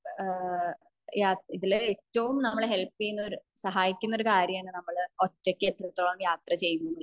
ഏഹ്ഹ് യ ഇതിൽ ഏറ്റവും നമ്മളെ ഹെല്പ്യ്യുന്ന ഒരു സഹായിക്കുന്ന കാര്യമാണ് ഒറ്റക് എത്രത്തോളം യാത്ര ചെയ്യുന്നു എന്നുള്ളത്